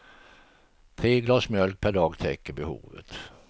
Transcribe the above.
Tre glas mjölk per dag täcker behovet.